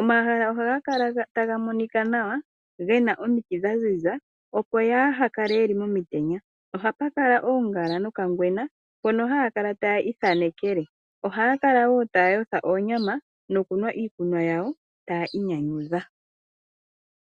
omahala ohaga kala taga monika nawa ngena omiti dhaziza nawa opo aantu yaahakale momitenya, ohapakala woo omiti dhoongala noka ngwena mpono aantu haakala tayiithanekele. Aantu ohaakala woo taayotha oonyama dhawo nosho woo okunwa iikunwa yawo tayii nyanyudha.